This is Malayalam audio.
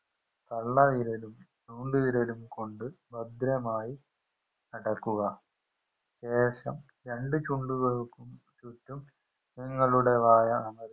തള്ളവിരലും ചൂണ്ടുവിരലും കൊണ്ട് ഭദ്രമായി അടക്കുക ശേഷം രണ്ട് ചൂണ്ടുവിരൽക്കും ചുറ്റും നിങ്ങളുടെ വായ അമർ